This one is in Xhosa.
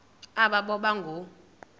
aba boba ngoo